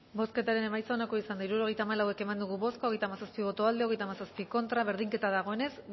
bozketaren emaitza onako izan da hirurogeita hamalau eman dugu bozka hogeita hamazazpi boto aldekoa treinta y siete contra berdinketa dagoenez